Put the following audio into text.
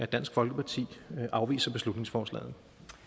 dansk folkeparti afviser beslutningsforslaget